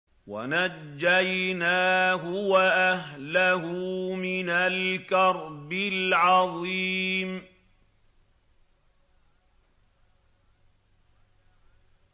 وَنَجَّيْنَاهُ وَأَهْلَهُ مِنَ الْكَرْبِ الْعَظِيمِ